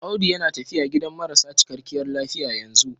Audu yana tafiya gidan marasa cikakkiyar lafiya yanzu.